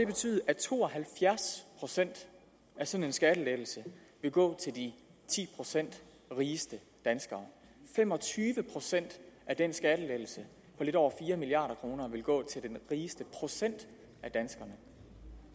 betyde at to og halvfjerds procent af sådan en skattelettelse vil gå til de ti procent rigeste danskere fem og tyve procent af den skattelettelse på lidt over fire milliard kroner vil gå til den rigeste procent af danskerne